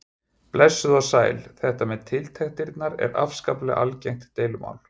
Blessuð og sæl, þetta með tiltektirnar er afskaplega algengt deilumál.